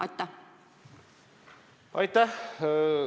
Aitäh!